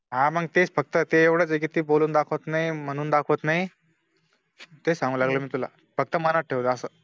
हा मंग तेच फक्त ते एवढच ए कि ते बोलून दाखवत नई म्हणून दाखवत नई, तेच सांगाय लागलो मी तुला, फक्त मनात ठेवायचं असं